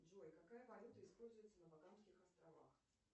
джой какая валюта используется на багамских островах